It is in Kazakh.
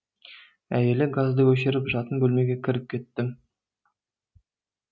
әйелі газды өшіріп жатын бөлмеге кіріп кетті